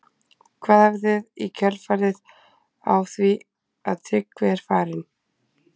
Hvað gerið þið í kjölfarið á því að Tryggvi er farinn?